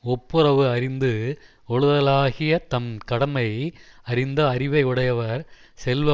ஒப்புரவு அறிந்து ஒழுதலாகியத் தம் கடமை அறிந்த அறிவை உடையவர் செல்வ